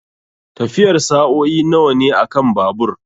Tafiyar sa'o'i nawa ne akan babur?